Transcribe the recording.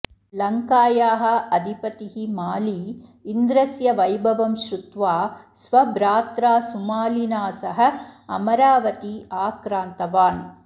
लङ्कायाः अधिपतिः माली इन्द्रस्य वैभवं श्रुत्वा स्वभ्रात्रा सुमालिना सह अमरावती आक्रान्तवान्